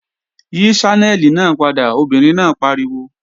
Yí Ṣánẹ́lì náà padà, obìnrin náà pariwo!